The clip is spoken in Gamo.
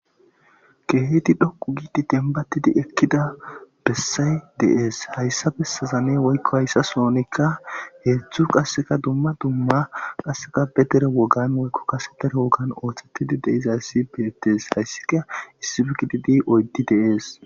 keehedi dhoku giidi denbatidi ekkida bessay deees hayssa bessazanne woykko hayssa soonikka heedzdzu qasseka dumma dumma qasseka bedere wogan woykko kasetere wogan ooththettidi deizayssi beettees hayssika issifigididi oyddi deees